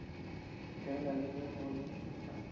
fela le ge go le